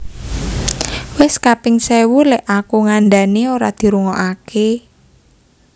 Wes kaping sewu lek aku ngandhani ora dirungoake